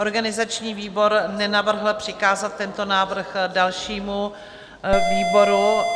Organizační výbor nenavrhl přikázat tento návrh dalšímu výboru.